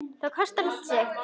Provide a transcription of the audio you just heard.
Það kostar allt sitt.